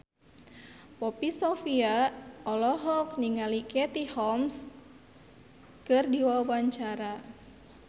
Poppy Sovia olohok ningali Katie Holmes keur diwawancara